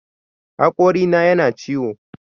Haƙorina yana ciwo